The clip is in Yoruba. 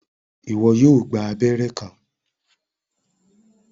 Iwọ yóò gbà abẹrẹ kan